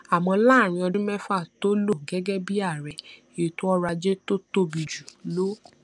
àmó láàárín ọdún méfà tó lò gégé bí ààrẹ ètò ọrò ajé tó tóbi jù lọ